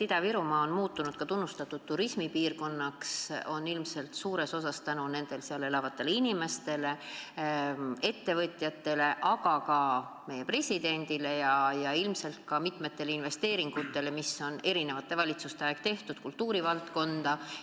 Ida-Virumaa on muutunud tunnustatud turismipiirkonnaks, ja seda ilmselt suures osas tänu seal elavatele ettevõtlikele inimestele, aga ka tänu meie presidendile ja ilmselt ka tänu mitmetele investeeringutele, mis on eri valitsuste ajal kultuuri valdkonnas tehtud.